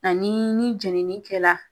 Ani ni jenini kɛ la